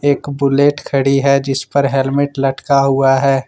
एक बुलेट खड़ी है जिस पर हेलमेट लटका हुआ है।